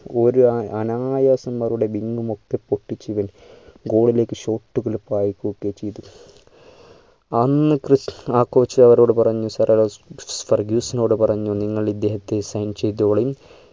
ഒരു അയ് അനായാസം അവരുടെ wing ഉം മൊത്തം പൊട്ടിച്ചു ഇവൻ goal കളിലേക്ക് shot കൾ പായികുട്ടുകയും ചെയ്തു അന്ന് ക്രിസ് ആ coach അവരോട് വർഗീസിനൊട് പറഞ്ഞു നിങ്ങൾ ഇദ്ദേഹത്തെ sign ചെയ്തൊളീ